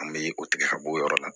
An bɛ o tigɛ ka bɔ o yɔrɔ la